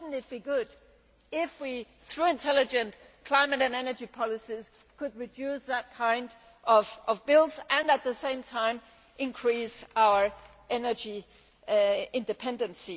It would be good if, through intelligent climate and energy policies, we could reduce that kind of bill and at the same time increase our energy independence.